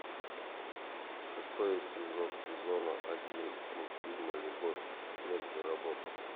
шестой эпизод сезона один мультфильма любовь смерть и роботы